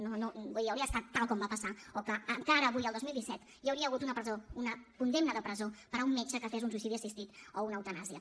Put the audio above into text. no no vull dir hauria estat tal com va passar o que encara avui el dos mil disset hi hauria hagut una condemna de presó per a un metge que fes un suïcidi assistit o una eutanàsia